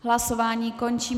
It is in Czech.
Hlasování končím.